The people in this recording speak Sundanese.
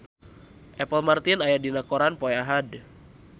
Apple Martin aya dina koran poe Ahad